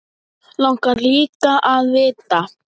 Langar líka að vita.